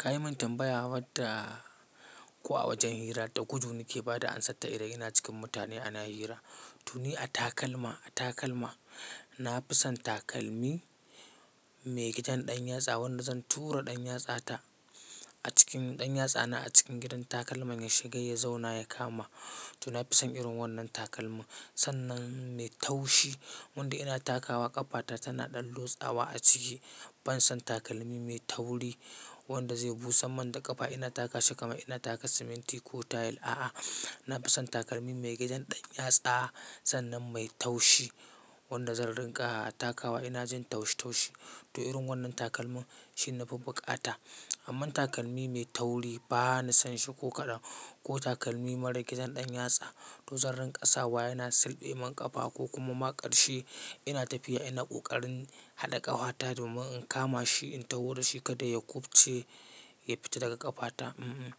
Ka yi min tambaya wadda, ko a wajen hira, ɗa gudu na ke ba da ansar ta idan yana cikin mutane ana hira? To ni a takalma, a takalma na fi son takalmi mai gidan ɗan yatsa, wanda zan tura ɗan yatsa ta a cikin ɗan yatsana a cikin gidan takalman ya shiga ya zauna ya kama. To na fi son irin wannan takalmin sannan mai taushi. Wanda ina takawa ƙafata tana ɗan lotsawa a ciki. Ban son takalmi mai tauri wanda zai busa min da ƙafa ina taka shi kamar ina taka siminti ko tile. A'a, na fi son takalmin mai gidan ɗan yatsa sannan mai taushi. Wanda zan ringa takawa ina jin taushi taushi. To irin wannan takalmin shi na fi buƙata. Amman takalmi mai tauri ba na son shi ko kaɗan ko takalmi marar gidan ɗan yatsa. To zan ringa kasawa yana silɓe min ƙafa ko kuma ma ƙarshe ina tafiya ina kokarin haɗa ƙafa ta domin in kama shi in tawo da shi kada ya kufce, yafita daga ƙafata. Mm-mm,